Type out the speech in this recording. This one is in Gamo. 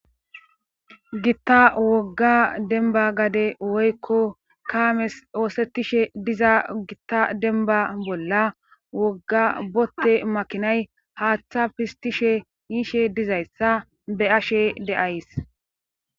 Gitta wogga denba gade woykko kaames oosetishe diza gitta denba bolla wogga botte makinay haaththa pistishe yiishe dizayssa be ashe deays